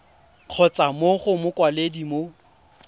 kgotsa mo go mokwaledi mo